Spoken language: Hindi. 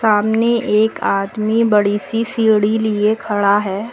सामने एक आदमी बड़ी सी सीढ़ी लिए खड़ा है।